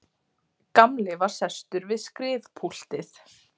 Gamli var sestur við skrifpúltið.